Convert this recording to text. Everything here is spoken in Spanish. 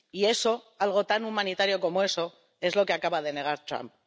Y eso, algo tan humanitario como eso, es lo que acaba de negar Trump.